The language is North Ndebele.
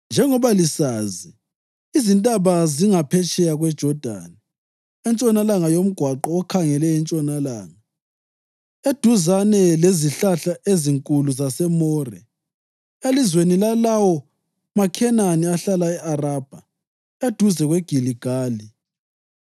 Njengoba lisazi, izintaba zingaphetsheya kweJodani, entshonalanga yomgwaqo okhangele entshonalanga, eduzane lezihlahla ezinkulu zaseMore, elizweni lalawo maKhenani ahlala e-Arabha eduzane kweGiligali.